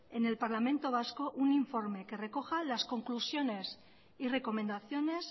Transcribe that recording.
en el parlamento vasco un informe que recoja las conclusiones y recomendaciones